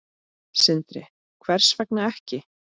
Sindri: Hvers vegna ekki?